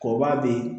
Kɔba bɛ yen